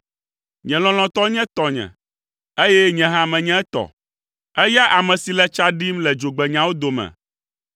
Nye lɔlɔ̃tɔ nye tɔnye, eye nye hã menye etɔ, eya ame si le tsa ɖim le dzogbenyawo dome.